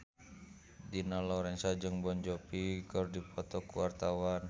Dina Lorenza jeung Jon Bon Jovi keur dipoto ku wartawan